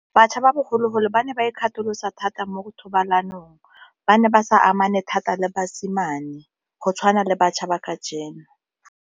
Batjha ba bogologolo ba ne ba ikgatholosa thata mo thobalanong, ba ne ba sa amane thata le basimane go tshwana le batjha ba ka .